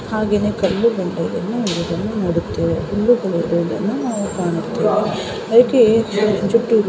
ಹಾಗೆಯೆ ಕಲ್ಲು ಗಂಟುಗಳನ್ನು ಇರುವುದನ್ನು ನೋಡುತ್ತೇವೆ ಕಲ್ಲು ಗಂಟು ನಾವಿ ಕಾಣುತ್ತೇವೆ ಅದಕ್ಕೆ ಜುಟ್ಟು --